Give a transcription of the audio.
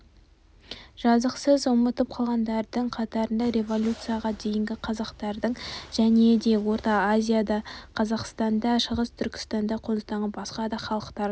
жазықсыз ұмыт қалғандардың қатарында революцияға дейінгі қазақтардың және де орта азияда қазақстанда шығыс түркістанда қоныстанған басқа да халықтардың